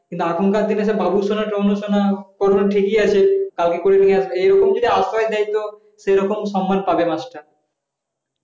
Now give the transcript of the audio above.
এখনকার দিনে বাবুসোনা তাবুসোনা কোন ঠিকই আছে কালকে করে নিয়ে আসবে এরকম যদি আশ্রয় দেয় তো সেরকম সম্মান পাবে মাস্টার